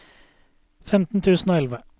femten tusen og elleve